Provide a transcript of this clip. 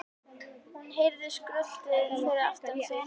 Hún heyrði skröltið fyrir aftan sig.